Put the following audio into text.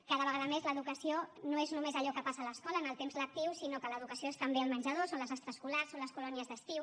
cada vegada més l’educació no és només allò que passa a l’escola en el temps lectiu sinó que l’educació és també el menjador són les extraescolars són les colònies d’estiu